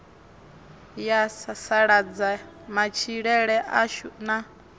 ya sasaladza matshilele ashu na